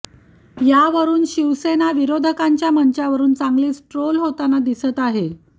यावरून शिवसेना विरोधकांच्या मंचावरून चांगलीचं ट्रोल होताना दिसत आहे